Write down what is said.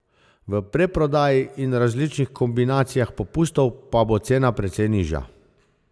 V predprodaji in različnih kombinacijah popustov pa bo cena precej nižja.